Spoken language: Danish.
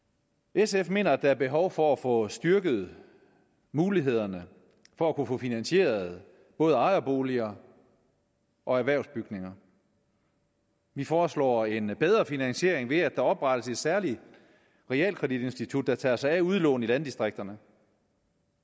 sf mener at der er behov for at få styrket mulighederne for at få finansieret både ejerboliger og erhvervsbygninger vi foreslår en bedre finansiering ved at der oprettes et særligt realkreditinstitut der tager sig af udlån i landdistrikterne